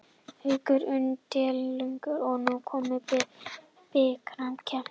Haukar unnu deildarleikinn og nú er komið að bikarkeppninni.